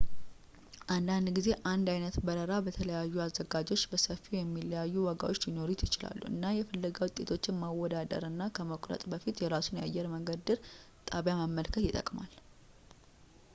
አንዳንድ ጊዜ አንድ ዓይነት በረራ በተለያዩ አዘጋጆች በሰፊው የሚለያዩ ዋጋዎች ሊኖሩት ይችላል እና የፍለጋ ውጤቶችን ማወዳደር እና ከመቁረጥ በፊት የራሱን የአየር መንገዱን ድር ጣቢያ መመልከት ይጠቅማል